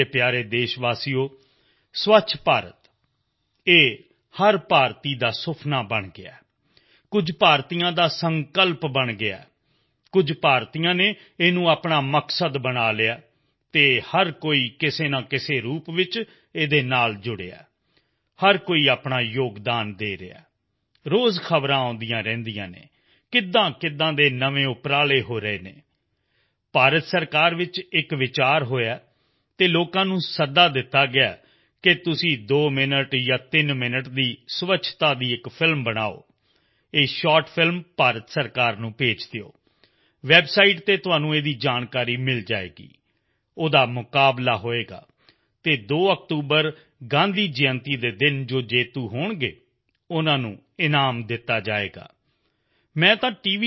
ਮੇਰੇ ਪਿਆਰੇ ਦੇਸ਼ਵਾਸੀਓ ਸਵੱਛ ਭਾਰਤ ਇਹ ਹਰ ਭਾਰਤੀ ਦਾ ਸੁਪਨਾ ਬਣ ਗਿਆ ਹੈ ਕੁਝ ਭਾਰਤੀਆਂ ਦਾ ਸੰਕਲਪ ਬਣ ਗਿਆ ਹੈ ਕੁਝ ਭਾਰਤੀਆਂ ਨੇ ਇਸ ਨੂੰ ਆਪਣਾ ਮਕਸਦ ਬਣਾ ਲਿਆ ਹੈ ਪਰ ਹਰ ਕੋਈ ਕਿਸੇ ਨਾ ਕਿਸੇ ਰੂਪ ਵਿੱਚ ਇਸ ਨਾਲ ਜੁੜਿਆ ਹੈ ਹਰ ਕੋਈ ਆਪਣਾ ਯੋਗਦਾਨ ਦੇ ਰਿਹਾ ਹੈ ਰੋਜ਼ ਖ਼ਬਰਾਂ ਆਉਂਦੀਆਂ ਰਹਿੰਦੀਆਂ ਹਨ ਕਿਵੇਂਕਿਵੇਂ ਨਵੇਂ ਉਪਰਾਲੇ ਹੋ ਰਹੇ ਹਨ ਭਾਰਤ ਸਰਕਾਰ ਵਿੱਚ ਇੱਕ ਵਿਚਾਰ ਹੋਇਆ ਹੈ ਅਤੇ ਲੋਕਾਂ ਨੂੰ ਬੇਨਤੀ ਕੀਤੀ ਹੈ ਕਿ ਤੁਸੀਂ ਦੋ ਮਿੰਟ ਤਿੰਨ ਮਿੰਟ ਦੀ ਸਵੱਛਤਾ ਦੀ ਇੱਕ ਫ਼ਿਲਮ ਬਣਾਓ ਇਹ ਸ਼ਾਰਟ ਫਿਲਮ ਭਾਰਤ ਸਰਕਾਰ ਨੂੰ ਭੇਜ ਦੇਵੋ ਵੈਬਸਾਈਟ ਤੇ ਤੁਹਾਨੂੰ ਇਸ ਦੀਆਂ ਜਾਣਕਾਰੀਆਂ ਮਿਲ ਜਾਣਗੀਆਂ ਉਸਦਾ ਮੁਕਾਬਲਾ ਹੋਏਗਾ ਅਤੇ 2 ਅਕਤੂਬਰ ਗਾਂਧੀ ਜੈਅੰਤੀ ਦੇ ਦਿਨ ਜੋ ਵਿਜੇਤਾ ਹੋਣਗੇ ਉਨ੍ਹਾਂ ਨੂੰ ਇਨਾਮ ਦਿੱਤਾ ਜਾਏਗਾ ਮੈਂ ਤਾਂ ਟੀ